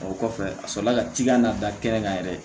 O kɔfɛ a sɔrɔla ka cikan na dakɛnɛ kan yɛrɛ ye